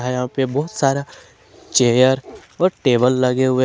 यहां पर बहोत सारा चेयर और टेबल लगे हुए--